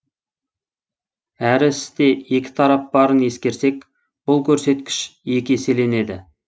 әр істе екі тарап барын ескерсек бұл көрсеткіш екі еселенеді